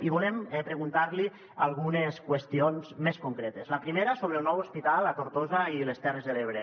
i volem preguntar li algunes qüestions més concretes la primera sobre el nou hospital a tortosa i les terres de l’ebre